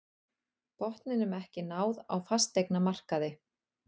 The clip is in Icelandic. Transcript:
Botninum ekki náð á fasteignamarkaði